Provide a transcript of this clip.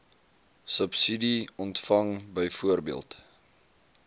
subsidie ontvang byvoorbeeld